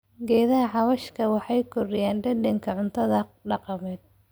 Geedaha xawaashka waxay kordhiyaan dhadhanka cuntada dhaqameed.